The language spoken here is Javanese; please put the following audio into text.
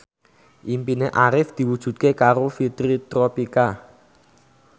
impine Arif diwujudke karo Fitri Tropika